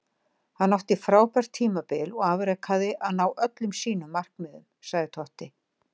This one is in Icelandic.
Hann átti frábært tímabil og afrekaði að ná öllum sínum markmiðum, sagði Totti.